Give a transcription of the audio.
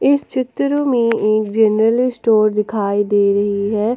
इस चित्र में एक जनरल स्टोर दिखाई दे रही है।